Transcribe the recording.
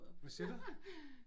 Hvad siger du?